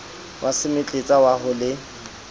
wa semetletsa wa ho le